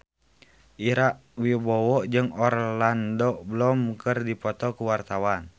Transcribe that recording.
Ira Wibowo jeung Orlando Bloom keur dipoto ku wartawan